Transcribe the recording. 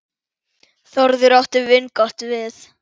Þórður átti vingott við.